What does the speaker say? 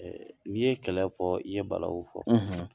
N'i ye kɛlɛ fɔ i ye balawu fɔ